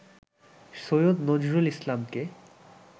সৈয়দ নজরুল ইসলামকে